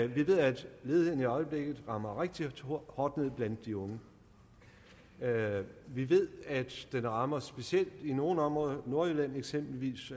vi ved at ledigheden i øjeblikket rammer rigtig hårdt ned blandt de unge vi ved at den rammer specielt nogle områder eksempelvis er nordjylland et